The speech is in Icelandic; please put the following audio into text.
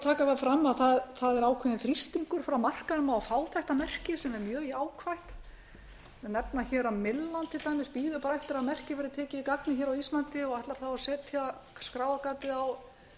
taka fram að það er ákveðinn þrýstingur frá markaðnum á fátæktarmerkið sem er mjög jákvætt ég vil nefna hér að myllan til dæmis bíður eftir að merkið verði tekið í gagnið á íslandi og ætlar þá að setja skráargatið á